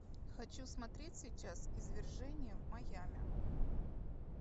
хочу смотреть сейчас извержение в майами